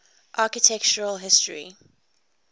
architectural history